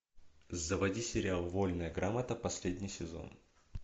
заводи сериал вольная грамота последний сезон